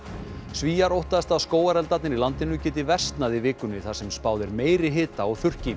Svíar óttast að skógareldarnir í landinu geti versnað í vikunni þar sem spáð er meiri hita og þurrki